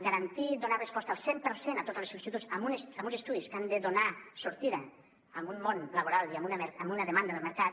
garantir donar resposta al cent per cent a totes les sol·licituds en uns estudis que han de donar sortida a un món laboral i a una demanda del mercat